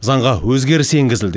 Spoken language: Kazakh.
заңға өзгеріс енгізілді